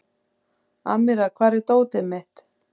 Amíra, hvar er dótið mitt?